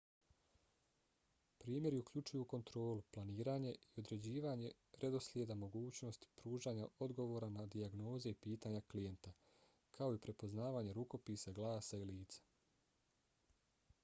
primjeri uključuju kontrolu planiranje i određivanje redoslijeda mogućnost pružanja odgovora na dijagnoze i pitanja klijenta kao i prepoznavanje rukopisa glasa i lica